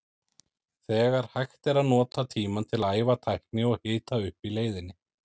Þegar hægt er að nota tímann til að æfa tækni og hita upp í leiðinni.